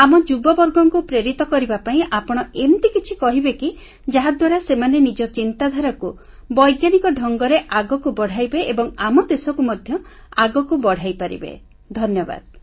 ଆମ ଯୁବବର୍ଗଙ୍କୁ ପ୍ରେରିତ କରିବା ପାଇଁ ଆପଣ ଏମିତି କିଛି କହିବେ କି ଯାହାଦ୍ୱାରା ସେମାନେ ନିଜ ଚିନ୍ତାଧାରାକୁ ବୈଜ୍ଞାନିକ ଢଙ୍ଗରେ ଆଗକୁ ବଢ଼ାଇବେ ଏବଂ ଆମ ଦେଶକୁ ମଧ୍ୟ ଆଗକୁ ବଢ଼ାଇପାରିବେ ଧନ୍ୟବାଦ